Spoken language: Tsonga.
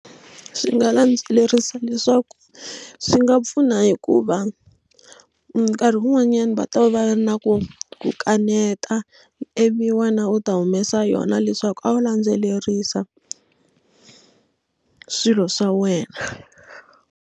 Swi nga landzelerisa leswaku swi nga pfuna hikuva nkarhi wun'wanyana va ta va va na ku kaneta ivi wena u ta humesa yona leswaku a wu landzelerisa swilo swa wena.